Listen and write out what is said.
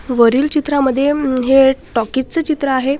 वरील चित्रांमध्ये हे टॉकीज च चित्र आहे.